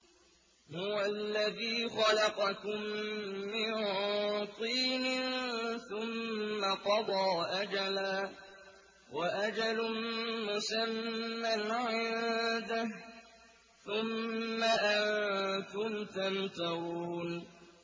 هُوَ الَّذِي خَلَقَكُم مِّن طِينٍ ثُمَّ قَضَىٰ أَجَلًا ۖ وَأَجَلٌ مُّسَمًّى عِندَهُ ۖ ثُمَّ أَنتُمْ تَمْتَرُونَ